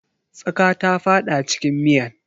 Tsaƙa ta fada cikin miyan.